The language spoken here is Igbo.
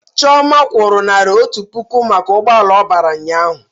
Chioma kwụrụ naira otu puku maka n'ugboala ọ bara ụnyaahụ